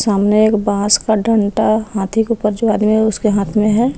हमने एक बांस का डंटा हाथी के ऊपर जो आदमी उसके हाथ में है।